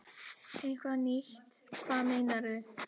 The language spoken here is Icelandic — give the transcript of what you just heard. Eitthvað nýtt, hvað meinarðu?